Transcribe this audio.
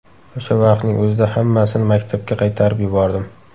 O‘sha vaqtning o‘zida hammasini maktabga qaytarib yubordim.